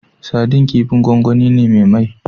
Sadin kifin gwangwani ne me mai